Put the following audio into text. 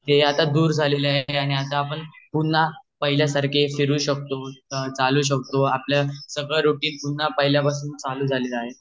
हे आता दूर झलेल आहे आणि आता आपण पुन्हा पहिल्या सारखे फीरू शकतो चालू शकतो आपला सगळे रूटीन पुन्हा पहिल्या सारखे चालू झालेल आहे